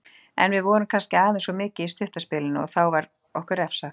En við vorum kannski aðeins of mikið í stutta spilinu og þá var okkur refsað.